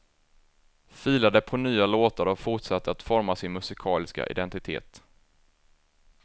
Filade på nya låtar och fortsatte att forma sin musikaliska identitet.